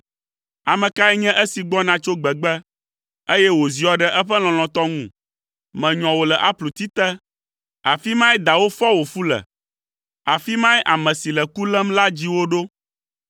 Ame kae nye esi gbɔna tso gbegbe, eye wòziɔ ɖe eƒe lɔlɔ̃tɔ ŋu? Menyɔ wò le apluti te; afi mae dawò fɔ wò fu le, afi mae ame si le ku lém la dzi wò ɖo.